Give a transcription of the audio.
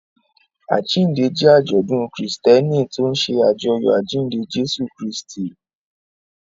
Àjíǹde jẹ́ àjọ̀dún Kristẹni tó ń ṣe àjọyọ̀ àjíǹde Jésù Kristi.